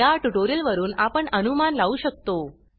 या ट्यूटोरियल वरुन आपण अनुमान लावू शकतो